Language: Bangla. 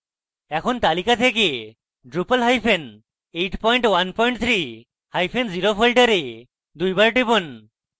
এখন তালিকা থেকে drupal hyphen 813 hyphen 0 folder দুইবার টিপুন